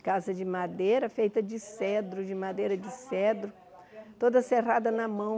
Casa de madeira, feita de cedro, de madeira de cedro, toda serrada na mão.